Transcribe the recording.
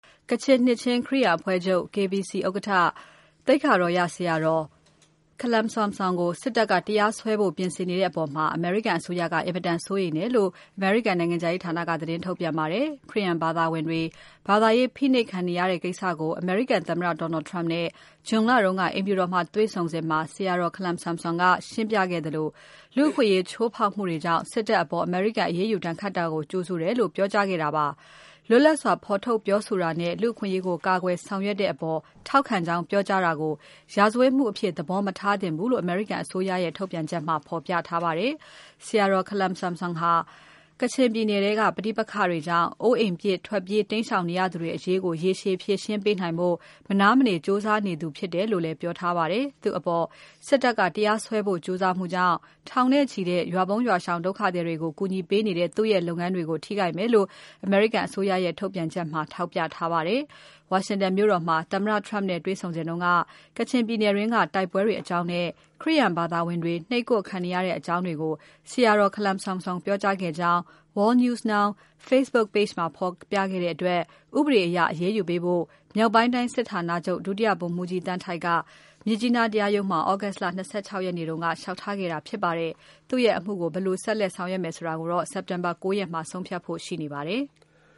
ကချင်နှစ်ခြင်း ခရစ်ယာန်အဖွဲ့ချုပ် ဥက္ကဋ္ဌ သိက္ခာတော်ရ ဆရာတော်ခလမ်ဆမ်ဆွမ်ကို စစ်တပ်က တရားစွဲဖို့ ပြင်ဆင်နေတဲ့အပေါ် အမေရိကန်အစိုးရက အင်မတန်စိုးရိမ်တယ်လို့ အမေရိကန်နိုင်ငံခြားရေးဌာနက သတင်းထုတ်ပြန်ပါတယ်။ ခရစ်ယာန်ဘာသာဝင်တွေ ဘာသာရေး ဖိနှိပ်ခံနေရတဲ့ ကိစ္စကို အမေရိကန်သမ္မတ Donald Trump နဲ့ ဇွန် လတုန်းက အိမ်ဖြူတော်မှာ တွေ့ဆုံစဉ် ဆရာတော် ခလမ်ဆမ်ဆွမ်က ရှင်းပြခဲ့သလို လူ့အခွင့်အရေး ချိုးဖောက်မှုတွေကြောင့် စစ်တပ်အပေါ် အမေရိကန် အရေးယူဒဏ်ခတ်တာကို ကြိုဆိုတယ်လို့ ပြောကြားခဲ့တာ ဖြစ်ပါတယ်။ လွတ်လပ်စွာ ဖော်ထုတ်ပြောဆိုတာနဲ့ လူ့အခွင့်အရေးကို ကာကွယ်ဆောင်ရွက်တဲ့အပေါ် ထောက်ခံကြောင်း ပြောကြားတာကို ရာဇဝတ်မှုအဖြစ် သဘောမထားသင့်ဘူးလို့ အမေရိကန်အစိုးရရဲ့ ထုတ်ပြန်ချက်မှာ ဖော်ပြထားပါတယ်။ ဆရာတော် ခလမ်ဆမ်ဆွမ်ဟာ ကချင်ပြည်နယ်ထဲက ပဋိပက္ခတွေကြောင့် အိုးအိမ်ပစ် ထွက်ပြေး တိမ်းရှောင်နေကြရသူတွေ အရေးကို ရေရှည်ဖြေရှင်းပေးနိုင်ဖို့ မနားမနေ ကြိုးစားသူဖြစ်တယ်လို့လည်း ပြောထားပါတယ်။ သူ့အပေါ် စစ်တပ်က တရားစွဲဖို့ကြိုးစားမှုကြောင့် ထောင်နဲ့ချီတဲ့ ရွာပုန်း ရွာရှောင် ဒုက္ခသည်တွေကို ကူညီပေးနေတဲ့ သူ့ရဲ့ လုပ်ရပ်တွေကို ထိခိုက်မယ်လို့ အမေရိကန်အစိုးရရဲ့ ထုတ်ပြန်ချက်ထဲမှာ ထောက်ပြထားပါတယ်။ ဝါရှင်တန်မြို့တော်မှာ သမ္မတ Trump နဲ့ တွေ့စဉ်က ကချင်ပြည်နယ်တွင်းက တိုက်ပွဲတွေအကြောင်းနဲ့ ခရစ်ယာန်ဘာသာဝင်တွေ နှိပ်ကွပ်ခံနေရတဲ့အကြောင်းတွေကို ဆရာတော်ခလမ်ဆမ်ဆွမ် ပြောကြားခဲ့ကြောင်း World News Now Facebook Page မှာ ဖေါ်ပြခဲ့တဲ့တွက် ဥပဒေအရ အရေးယူဖို့ မြောက်ပိုင်းတိုင်းစစ်ဌာနချုပ် ဒုတိယ ဗိုလ်မှူးကြီး သန်းထိုက်က မြစ်ကြီးနား တရားရုံးမှာ သြဂုတ်လ ၂၆ ရက်နေ့က ဦးတိုက် လျှောက်ထားခဲ့တာ ဖြစ်ပါတယ်။ သူ့ရဲ့ အမှုကို ဘယ်လိုဆက်လက် ဆောင်ရွက်မယ်ဆိုတာ စက်တင်ဘာ ၉ ရက်မှာ ဆုံးဖြတ်ဖို့ ရှိနေပါတယ်။